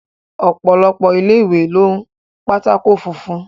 Ọ̀pọ̀lọpọ̀ ilé ìwé ń lo pátákó funfun.